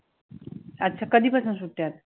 अच्छा, कधीपासून सुट्ट्या आहेत?